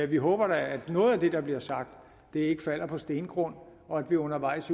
vi håber da at noget af det der bliver sagt ikke falder på stenet grund og at vi undervejs